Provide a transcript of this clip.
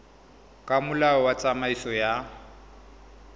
ka molao wa tsamaiso ya